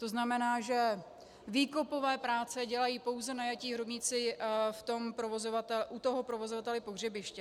To znamená, že výkopové práce dělají pouze najatí hrobníci u toho provozovatele pohřebiště.